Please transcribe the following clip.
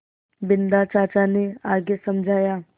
बिन्दा चाचा ने आगे समझाया